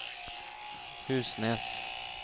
Husnes